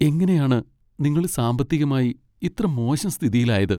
എങ്ങനെയാണ് നിങ്ങൾ സാമ്പത്തികമായി ഇത്ര മോശം സ്ഥിതിയിലായത്?